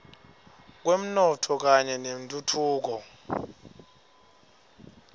kwemnotfo kanye nentfutfuko